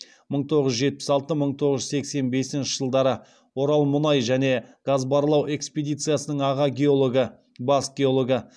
мың тоғыз жүз жетпіс алты мың тоғыз жүз сексен бесінші жылдары орал мұнай және газ барлау экспедициясының аға геологы бас геологы